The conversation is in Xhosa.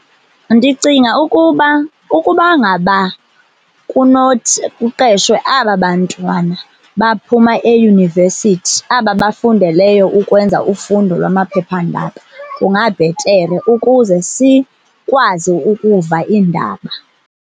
Ndicinga ukuba ukuba ngaba kunothi kuqeshwe aba bantwana baphuma eyunivesithi aba bafundeleyo ukwenza ufundo lwamaphepha-ndaba kungabhetere ukuze sikwazi ukuva iindaba.